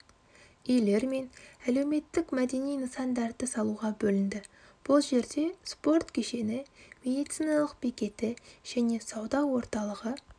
үйлер мен әлеуметтік-мәдени нысандарды салуға бөлінді бұл жерде спорт кешені медициналық бекеті және сауда орталығы